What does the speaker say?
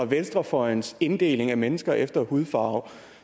venstrefløjens inddeling af mennesker efter hudfarve